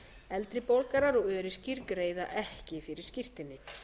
eldri borgarar og öryrkjar greiða ekki fyrir skírteini